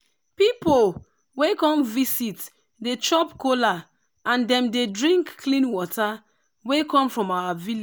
pipu wey come visit dey chop kola and dem dey drink clean water wey come from our village